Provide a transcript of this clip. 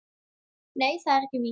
Nei, það er víst ekki.